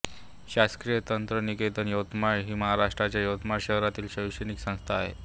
शासकीय तंत्रनिकेतन यवतमाळ ही महाराष्ट्राच्या यवतमाळ शहरातील शैक्षणिक संस्था आहे